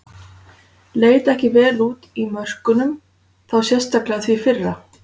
Leit ekki vel út í mörkunum, þá sérstaklega því fyrra.